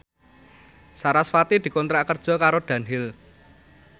sarasvati dikontrak kerja karo Dunhill